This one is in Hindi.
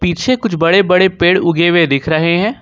पीछे कुछ बड़े बड़े पेड़ उगे हुए दिख रहे हैं।